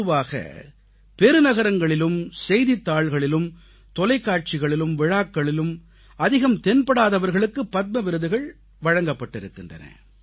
பொதுவாக பெரு நகரங்களிலும் செய்தித்தாள்களிலும் தொலைக்காட்சிகளிலும் விழாக்களிலும் அதிகம் தென்படாதவர்களுக்கு பத்ம விருதுகள் வழங்கப்பட்டிருக்கின்றன